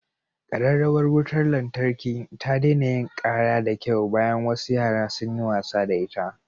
Kararrawar wutar lantarki ta daina yin kara da kyau bayan wasu yara sun yi wasa da ita.